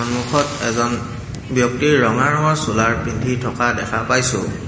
সন্মুখত এজন ব্যক্তিৰ ৰঙা ৰঙৰ চোলাৰ পিন্ধি থকা দেখা পাইছোঁ।